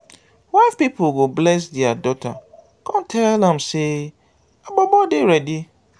wife pipol go bless dia daughter con tell am say her bobo dey ready